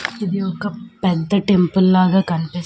ఇది ఒక పెద్ద టెంపుల్ లాగా కన్పిస్--